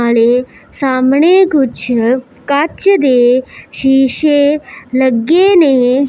ਹਲੇ ਸਾਹਮਣੇ ਕੁਛ ਕੱਚ ਦੇ ਸ਼ੀਸ਼ੇ ਲੱਗੇ ਨੇ।